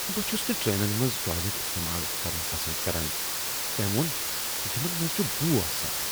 بہٕ چھس نہٕ ٹرینن منٛز ٹوائلٹ استعمال کرن پسند کران، تٔمۍ ووٚن، "یمن منٛز چھ بو یوان۔"